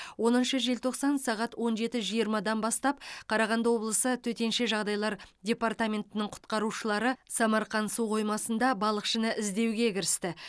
оныншы желтоқсан сағат он жеті жиырмадан бастап қарағанды облысы төтенше жағдайлар департаментінің құтқарушылары самарқан су қоймасында балықшыны іздеуге кірісті